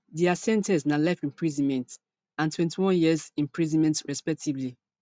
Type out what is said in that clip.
dia sen ten ce na life imprisonment and twenty-one years imprisonment respectively